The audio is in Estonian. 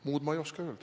Muud ma ei oska öelda.